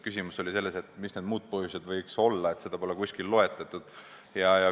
Küsimus oli selles, et mis need muud põhjused võiks olla, neid pole kusagil loetletud.